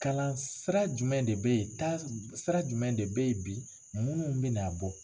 Kalan sira jumɛn de bɛ ye taasira jumɛn de bɛ ye bi munnu bɛ na bɔ.